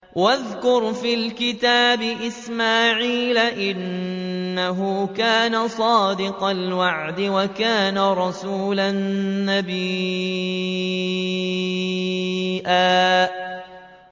وَاذْكُرْ فِي الْكِتَابِ إِسْمَاعِيلَ ۚ إِنَّهُ كَانَ صَادِقَ الْوَعْدِ وَكَانَ رَسُولًا نَّبِيًّا